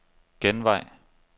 genvej